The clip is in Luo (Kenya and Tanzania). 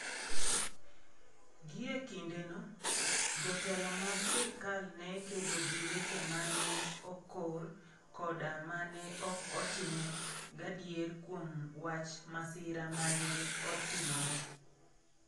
Gie kindeno, jotelo mag sirkal ne kedo gi weche ma ne okor koda ma ne ok otime gadier kuom wach masira ma ne otimore.